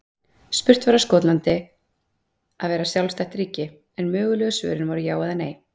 Spurt var á Skotland að vera sjálfstætt ríki? en mögulegu svörin voru já eða nei.